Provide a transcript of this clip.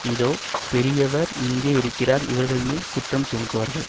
இதோ பெரியவர் இங்கே இருக்கிறார் இவர்கள்மேல் குற்றஞ்சுமத்துவார்கள்